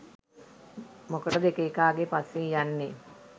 මොකටද එක එකාගේ පස්සෙන් යන්නේ